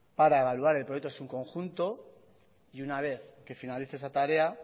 para evaluar el proyecto en su conjunto y una vez que finalice esa tarea